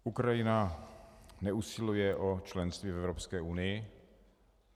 Ukrajina neusiluje o členství v Evropské unii.